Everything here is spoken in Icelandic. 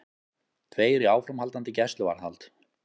Tveir í áframhaldandi gæsluvarðhald